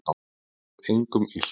Hann vill engum illt